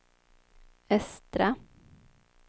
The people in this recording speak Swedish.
östra